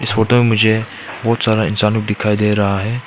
Photo मुझे बहुत सारा इंसान दिखाई दे रहा है।